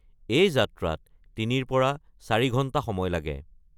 এই যাত্ৰাত ৩ৰ পৰা ৪ ঘণ্টা সময় লাগে।